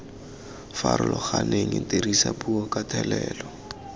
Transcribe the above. farologaneng dirisa puo ka thelelo